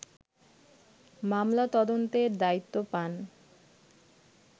মামলা তদন্তের দায়িত্ব পান